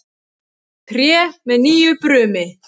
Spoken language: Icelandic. Tré með nýju brumi.